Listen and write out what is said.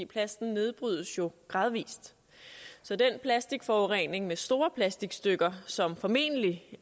plasten nedbrydes jo gradvis så den plastikforurening med store plastikstykker som formentlig